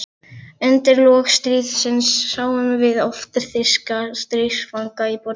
Undir lok stríðsins sáum við oft þýska stríðsfanga í borginni.